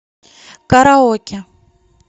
караоке